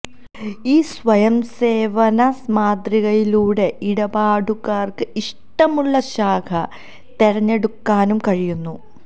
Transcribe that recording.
ഈ സ്വയം സേവന മാതൃകയിലൂടെ ഇടപാടുകാര്ക്ക് ഇഷ്ടമുളള ശാഖ തെരഞ്ഞെടുക്കാനും കഴിയുന്നു